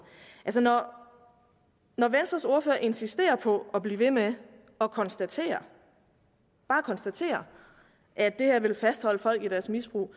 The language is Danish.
når venstres ordfører insisterer på at blive ved med at konstatere bare konstatere at det her vil fastholde folk i deres misbrug og